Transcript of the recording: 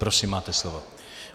Prosím, máte slovo.